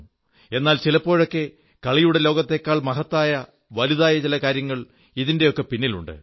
എന്നാൽ ചിലപ്പോഴൊക്കെ കളിയുടെ ലോകത്തേക്കാൾ മഹത്തായ വലുതായ ചില കാര്യങ്ങൾ ഇതിന്റെയൊക്കെ പിന്നിൽ ഉണ്ട്